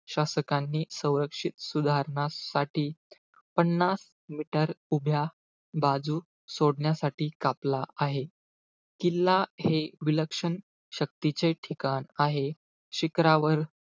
शासकांनी संरक्षित सुधारणांसाठी पन्नास meter उभ्या बाजू सोडण्यासाठी, कापला आहे. किल्ला हे विलक्षण शक्तीचे ठिकाण आहे. शिखरावर,